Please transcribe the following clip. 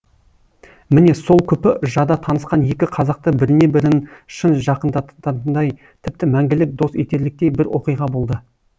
міне сол күпі жада танысқан екі қазақты біріне бірін шын жақындататындай тіпті мәңгілік дос етерліктей бір оқиға болды